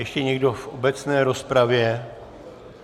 Ještě někdo v obecné rozpravě?